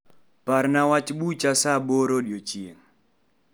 Parna wach bucha saa aboro odiechieng'.